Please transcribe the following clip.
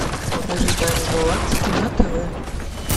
покажи тайны галактики на тв